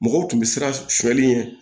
Mɔgɔw tun bɛ siran sɔli ɲɛ